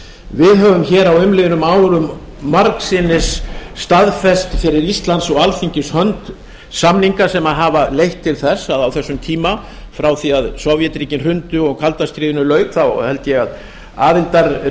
við höfum á umliðnum árum margsinnis staðfest fyrir íslands og alþingis hönd samninga sem hafa leitt til þess að á þessum tíma frá því að sovétríkin hrundu og kalda stríðinu lauk þá held ég að aðildarríkjafjöldinn